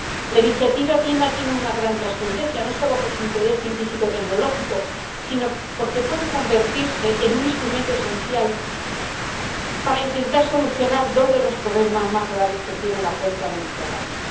La iniciativa PRIMA tiene una gran trascendencia, no solo por su interés científico y tecnológico, sino porque puede convertirse en un instrumento esencial para intentar solucionar dos de los problemas más graves que tiene la cuenca mediterránea.